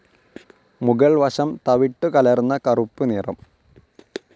മുകൾ വശം തവിട്ടുകലർന്ന കറുപ്പുനിറം.